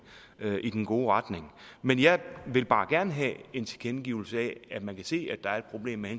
i den gode retning men jeg vil bare gerne have en tilkendegivelse af at man kan se at der er et problem i